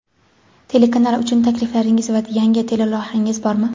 Telekanal uchun takliflaringiz va yangi teleloyihangiz bormi?.